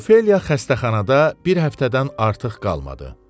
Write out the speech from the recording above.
Ofeliya xəstəxanada bir həftədən artıq qalmadı.